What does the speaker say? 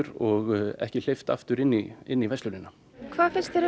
og ekki hleypt aftur inn í inn í verslunina hvað finnst þér um